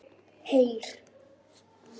Heyr!